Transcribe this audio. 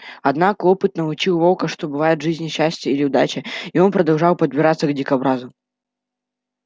однако опыт научил волка что бывает в жизни счастье или удача и он продолжал подбираться к дикобразу